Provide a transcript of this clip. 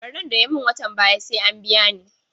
Ɓarnan da ya mun watan baya sai an biya ni